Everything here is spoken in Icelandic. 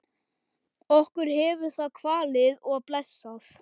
Okkur hefur það kvalið og blessað.